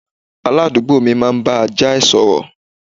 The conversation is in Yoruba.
Aládùúgbò mi máa ń bá ajá ẹ̀ sọ̀rọ̀